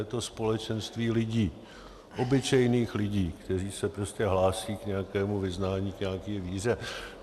Je to společenství lidí, obyčejných lidí, kteří se prostě hlásí k nějakému vyznání, k nějaké víře.